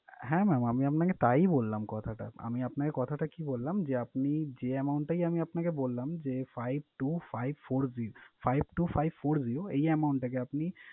হ্যাঁ mam আমি আপনাকে তাই বললাম কথাটা। আমি আপনাকে কথাটা কি বললাম যে, আপনি যে amount টাই আমি আপনাকে বললাম যে five two five four zer~ five two five four zero এই amount টাকে আপনি,